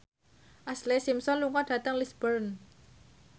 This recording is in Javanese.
Ashlee Simpson lunga dhateng Lisburn